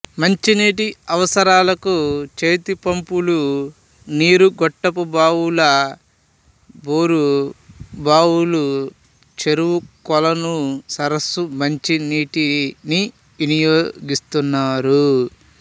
మంచినీటి అవసరాలకు చేతిపంపుల నీరు గొట్టపు బావులు బోరు బావుల చెరువు కొలను సరస్సు నుంచి నీటిని వినియోగిస్తున్నారు